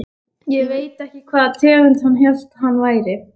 Ég veit ekki hvaða tegund hann hélt hann væri.